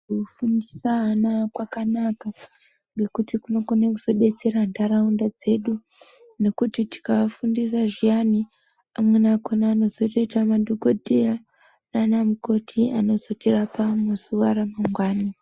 Kufundisa ana kwakanaka ngekuti kunokona kuzobetsera nharaunda dzedu. Nekuti tikaafundisa zviya I amweni akhona anokona kuzoita madhokodheya nanamukoti anozotirapa muzuwa ramangwani.